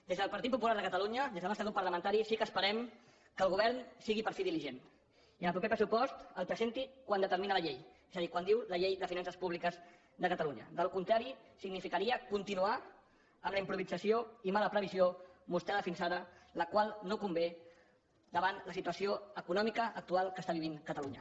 des del partit popular de catalunya des del nostre grup parlamentari sí que esperem que el govern sigui per fi diligent i el proper pressupost el presenti quan determina la llei és a dir quan diu la llei de finances públiques de catalunya en cas contrari significaria continuar amb la improvisació i mala previsió mostrada fins ara la qual no convé davant la situació econòmica actual que està vivint catalunya